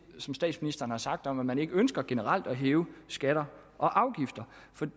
som statsministeren har sagt om at man ikke ønsker generelt at hæve skatter og afgifter